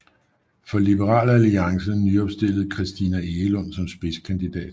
For Liberal Alliance nyopstillede Christina Egelund som spidskandidat